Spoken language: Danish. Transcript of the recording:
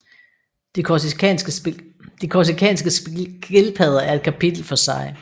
De korsikanske skildpadder er et kapitel for sig